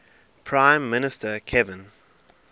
prime minister kevin